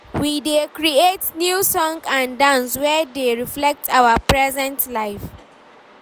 We dey create new song and dance wey dey reflect our present life.